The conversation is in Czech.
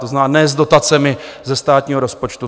To znamená ne s dotacemi ze státního rozpočtu.